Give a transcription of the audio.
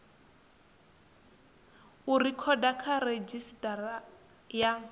u rekhoda kha redzhisitara ya